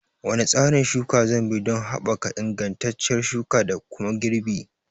Wane tsarin shuka zanbi don haɓaka ingantacciyar shuka da kuma girbi?